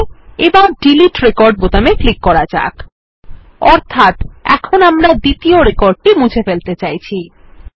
ঠিক আছে এবার ডিলিট রেকর্ড বোতামে ক্লিক করা যাক অর্থাত এখন আমরা দ্বিতীয় রেকর্ডটি মুছে ফেলতে চাইছি